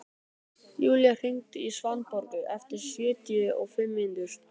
Julia, hringdu í Svanborgu eftir sjötíu og fimm mínútur.